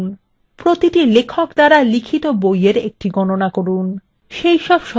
2 প্রতিটি লেখক দ্বারা লিখিত বই এর একটি গণনা করুন